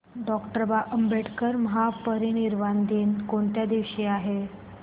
doctor Ambedkar महापरिनिर्वाण दिन कोणत्या दिवशी आहे